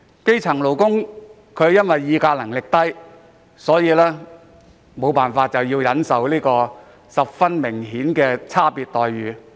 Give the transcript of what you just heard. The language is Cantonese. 基層勞工議價能力低，唯有忍受明顯有差別的待遇。